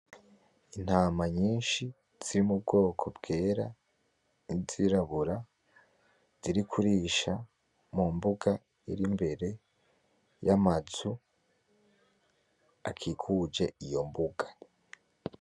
Intama nyinshi, ziri mu bwoko bwera n'izirabura, ziri kurisha mu mbuga irimbere y'amazu akikuje iyo mbuga.